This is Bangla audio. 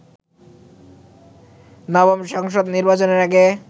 নবম সংসদ নির্বাচনের আগে